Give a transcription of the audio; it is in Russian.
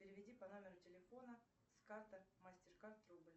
переведи по номеру телефона с карты мастеркард рубль